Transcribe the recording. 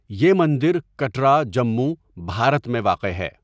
یہ مندر کٹرا، جموں، بھارت میں واقع ہے۔